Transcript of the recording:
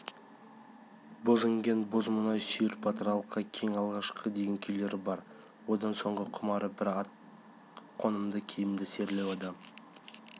боз іңген боз мұнай сүйір батыр алқа кел алғашқым деген күйлері бар одан соңғы құмары бір жақсы ат қонымды киім серілеу адам